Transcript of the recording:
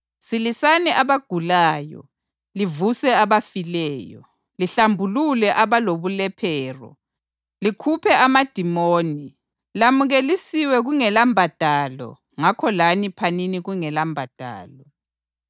Silisani abagulayo, livuse abafileyo, lihlambulule abalobulephero, likhuphe amadimoni. Lamukelisiwe kungelambadalo ngakho lani phanini kungelambadalo.